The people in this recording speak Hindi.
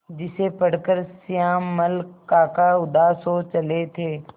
जिसे पढ़कर श्यामल काका उदास हो चले थे